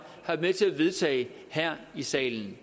har været med til at vedtage her i salen